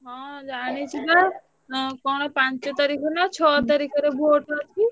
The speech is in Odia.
ହଁ ଜାଣିଛି ବା ଏଁ କଣ ପାଞ୍ଚ ତାରିଖ ନାଁ ଛଅ ତାରିଖ ରେ vote ଅଛି।